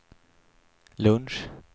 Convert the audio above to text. lunch